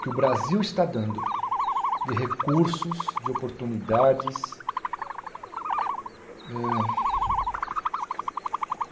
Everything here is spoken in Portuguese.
que o Brasil está dando de recursos, de oportunidades. Eh